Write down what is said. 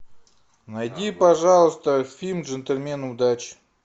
найди пожалуйста фильм джентльмены удачи